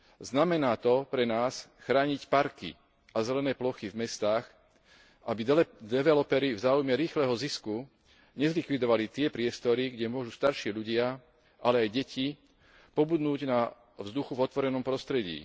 Znamená to pre nás chrániť parky a zelené plochy v mestách, aby developeri v záujme rýchleho zisku nezlikvidovali tie priestory, kde môžu starší ľudia, ale aj deti pobudnúť na vzduchu v otvorenom prostredí.